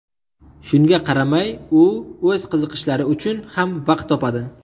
Shunga qaramay, u o‘z qiziqishlari uchun ham vaqt topadi.